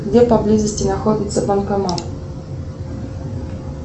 где поблизости находится банкомат